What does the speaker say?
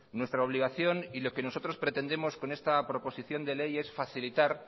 nuestra obligación y lo que nosotros pretendemos con esta proposición de ley es facilitar